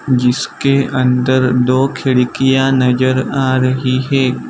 जिसके अंदर दो खिड़कियां नजर आ रही है।